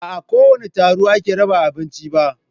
Ba a kowane taro ake raba abinci ba.